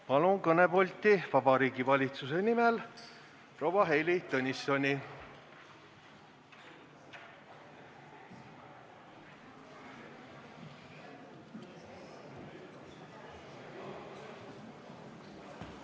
Palun kõnepulti Vabariigi Valitsuse nimel kõnelema proua Heili Tõnissoni!